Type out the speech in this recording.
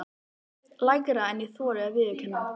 Lægra en ég þori að viðurkenna.